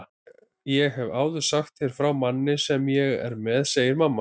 Ég hef áður sagt þér frá manni sem ég er með, segir mamma.